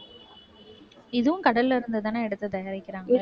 இதுவும் கடல்ல இருந்தாதானே எடுத்து தயாரிக்கிறாங்க